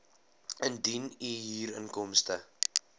indien u huurinkomste